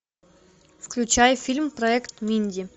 включай фильм проект минди